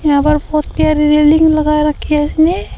यहाँ पर बहोत गहरी रेलिंग लगा रखी है इसने।